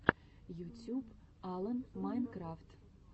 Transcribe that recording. ютюб алан майнкрафт